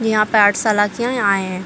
यहाँ पे आये है।